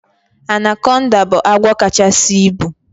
Anaconda bụ agwọ kachasi ịbu